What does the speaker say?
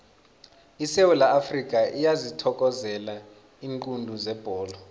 isewula afrikha iyazithokozela iinqundu zebholo